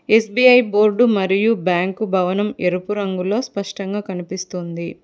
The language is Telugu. ఎస్_బి_ఐ బోర్డు మరియు బ్యాంక్ భవనం ఎరుపు రంగులో స్పష్టంగా కనిపిస్తుంది.